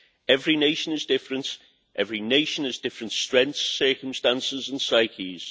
Every nation is different, every nation has different strengths, circumstances and psyches.